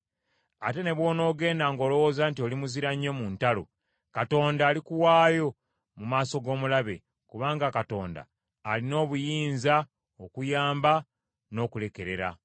Ate ne bw’onoogenda ng’olowooza nti oli muzira nnyo mu ntalo, Katonda alikuwaayo mu maaso g’omulabe, kubanga Katonda alina obuyinza okuyamba, n’okulekerera.”